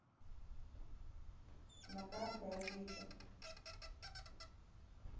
на карте авито